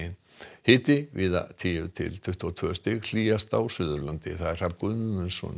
hiti víða tíu til tuttugu og tvö stig hlýjast á Suðurlandi Hrafn Guðmundsson